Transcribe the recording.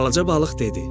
Balaca balıq dedi: